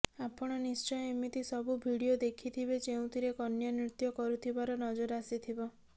ଆପଣ ନିଶ୍ଚୟ ଏମିତି ସବୁ ଭିଡ଼ିଓ ଦେଖିଥିବେ ଯେଉଁଥିରେ କନ୍ୟା ନୃତ୍ୟ କରୁଥିବାର ନଜର ଆସିଥିବ